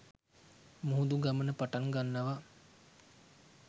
මුහුදු ගමන පටන් ගන්නවා.